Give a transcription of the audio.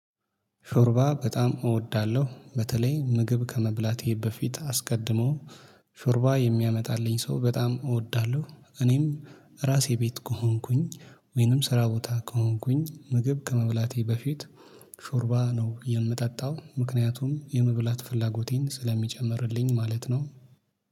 ሾርባ በጣም እወዳለሁ በተለይ ምግብ ከመብላቴ በፊት አስቀድሞ ሾርባ የሚያመጣልኝ ሰው በጣም እወዳለሁ። እኔም ራሴ ቤት ከሆንኩኝ ወይንም ስራ ቦታ ከሆንኩኝ ምግብ ከመብላቴ በፊት ሾርባ ነው የምጠጣው። ምክንያቱም የመብላት ፍላጎቴን ስለሚጨምርልኝ ማለት ነው